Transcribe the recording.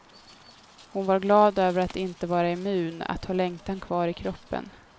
Hon var glad över att inte vara immun, att ha längtan kvar i kroppen.